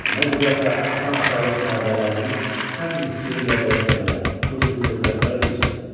Nə cürətlə atam kralın təbələrinin ən miskini ilə də olsa belə bu cür kobud rəftar eləyirsən?